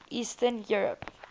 eastern europe